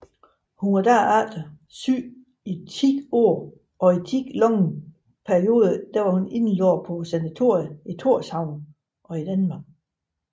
Hun var derefter syg i ti år og i lange perioder indlagt på sanatorium i Tórshavn og i Danmark